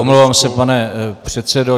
Omlouvám se, pane předsedo.